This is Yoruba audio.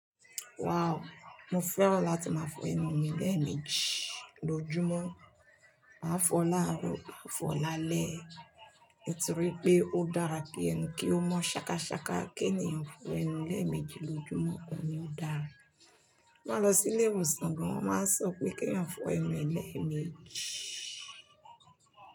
Wow! Mo fẹ́ran láti máa fọ ẹnu mi léẹ̀ẹ̀mejì lójúmọ́. Máa fọ láàárọ̀, máa fọ lálẹ́ mo ti rí pé ó dára ki ẹnu kí ó mọ́ ṣakaṣaka kí ènìyàn fọ ẹnu léẹ̀ẹ̀mejì lójúmọ́, òun ní ó dára. Máa lọ sí ilé ìwòsàn gan, wọ́n máa sọ pé kí èèyàn fọ ẹnu e léẹ̀ẹ̀mejì.